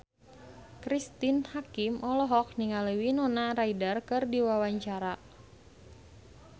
Cristine Hakim olohok ningali Winona Ryder keur diwawancara